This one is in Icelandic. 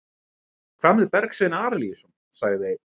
Hvað með Bergsvein Arilíusson, sagði einn?